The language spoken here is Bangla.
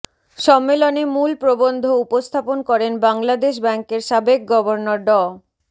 সম্মেলনে মূল প্রবন্ধ উপস্থাপন করেন বাংলাদেশ ব্যাংকের সাবেক গভর্নর ড